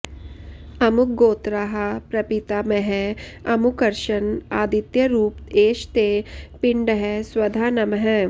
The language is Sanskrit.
अमुकगोत्राः प्रपितामहः अमुकर्शन् आदित्यरूप एष ते पिण्डः स्वधा नमः